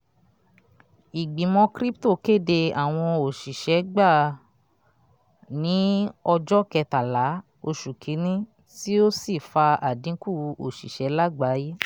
ìgbìmọ̀ crypto kéde àwọn òṣìṣẹ́ gbà ní ọjọ́ kẹtàlá oṣù kínní ti ó sì fa àdínkù oṣiṣẹ lágbàyé.